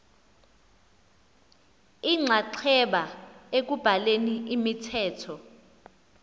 inxaxheba ekubhaleni imithetho